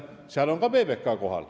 Seal oli ka PBK kohal.